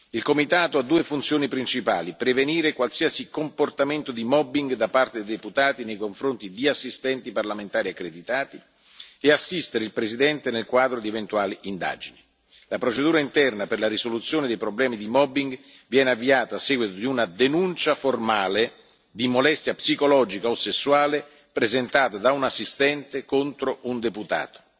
Il comitato ha due funzioni principali prevenire qualsiasi comportamento di mobbing da parte dei deputati nei confronti di assistenti parlamentari accreditati e assistere il Presidente nel quadro di eventuali indagini. La procedura interna per la risoluzione dei problemi di mobbing viene avviata a seguito di una denuncia formale di molestia psicologica o sessuale presentata da un assistente contro un deputato.